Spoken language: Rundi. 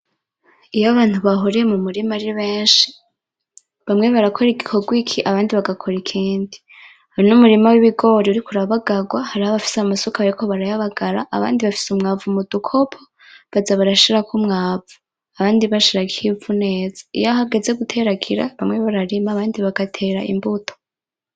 Iyo abantu bahuriye mu murima ari benshi, hamwe barakora igikorwa iki abandi bagakora ikindi. Uyu n’umurima w’ibigori uriko urabagarwa hariho abafise amasuka bariko barayabagara abandi bafise umwavu mudukopo baza barashirako umwavu abandi bashirako ivu neza. Iyo hageze guteragira bamwe bararima abandi bagatera imbuto.